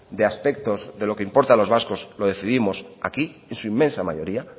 de aspectos de lo que importa a los vascos lo decidimos aquí en su inmensa mayoría